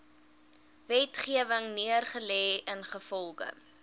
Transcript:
wetgewing neergelê ingevolge